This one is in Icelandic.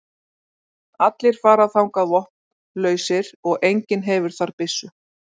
Allir fara þangað vopnlausir og enginn hefur þar byssu.